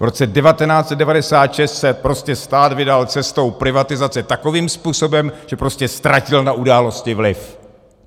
V roce 1996 se prostě stát vydal cestou privatizace takovým způsobem, že prostě ztratil na události vliv.